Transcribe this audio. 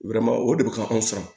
o de bɛ ka anw san